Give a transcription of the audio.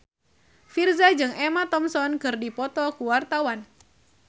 Virzha jeung Emma Thompson keur dipoto ku wartawan